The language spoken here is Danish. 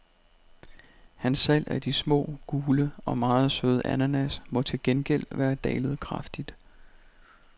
Hans salg af de små, gule og meget søde ananas må til gengæld være dalet kraftigt.